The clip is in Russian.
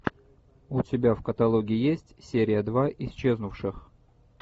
у тебя в каталоге есть серия два исчезнувших